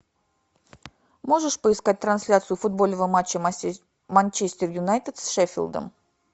можешь поискать трансляцию футбольного матча манчестер юнайтед с шеффилдом